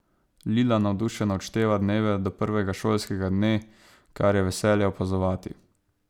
Lila navdušeno odšteva dneve do prvega šolskega dne, kar je veselje opazovati.